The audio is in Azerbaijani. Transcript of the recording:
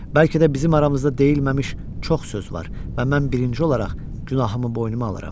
Bəlkə də bizim aramızda deyilməmiş çox söz var, və mən birinci olaraq günahımı boynuma alıram.